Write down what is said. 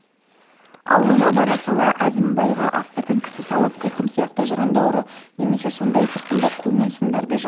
аулына бара сала әзімбайға астыртын кісі салып қиқым сияқты жырынды ұры немесе сондай сырқынды қу мен сұмдарды жансыз